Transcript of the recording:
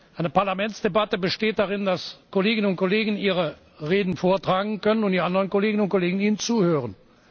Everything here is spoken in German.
Eine Parlamentsdebatte besteht darin, dass Kolleginnen und Kollegen ihre Reden vortragen können und die anderen Kolleginnen und Kollegen ihnen zuhören.